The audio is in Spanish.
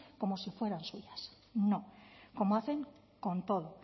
como si fueran suyas no como hacen con todo